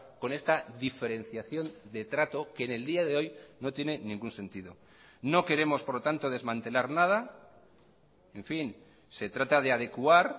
con esta diferenciación de trato que en el día de hoy no tiene ningún sentido no queremos por lo tanto desmantelar nada en fin se trata de adecuar